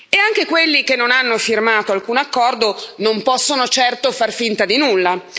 E anche quelli che non hanno firmato alcun accordo non possono certo far finta di nulla.